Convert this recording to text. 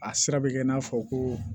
A sira bɛ kɛ i n'a fɔ ko